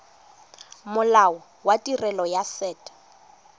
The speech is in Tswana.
molao wa tirelo ya set